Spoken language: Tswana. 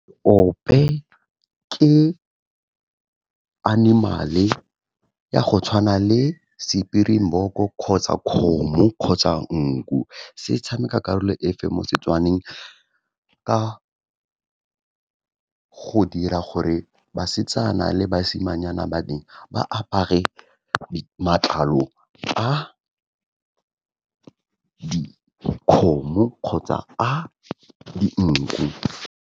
Ope ke animal-e ya go tshwana le springbok-o, kgotsa kgomo, kgotsa nku. Se tshameka karolo efe mo Setswaneng ka go dira gore basetsana le basimanyana ba teng ba apare matlalong a dikgomo kgotsa a dinku.